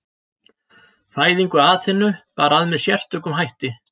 Fæðingu Aþenu bar að með sérstökum hætti.